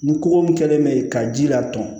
Ni koko min kɛlen bɛ yen ka ji laturu